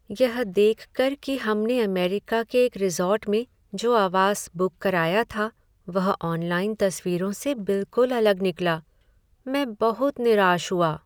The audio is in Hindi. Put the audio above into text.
यह देख कर कि हमने अमेरिका के एक रिसॉर्ट में जो आवास बुक कराया था वह ऑनलाइन तस्वीरों से बिलकुल अलग निकला, मैं बहुत निराश हुआ।